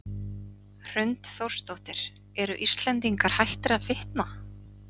Hrund Þórsdóttir: Eru Íslendingar hættir að fitna?